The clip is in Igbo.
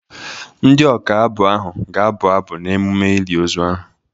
Ndị ọka abụ ahụ ga-abụ abụ n'emume ili ozu ahụ.